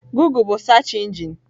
Gụgle bụ search engine.